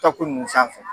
Tako nunnu sanfɛ